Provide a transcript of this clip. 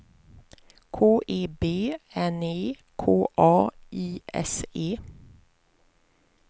K E B N E K A I S E